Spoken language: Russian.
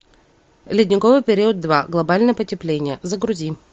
ледниковый период два глобальное потепление загрузи